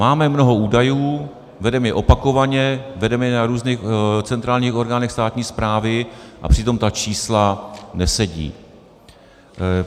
Máme mnoho údajů, vedeme je opakovaně, vedeme je na různých centrálních orgánech státní správy a přitom ta čísla nesedí.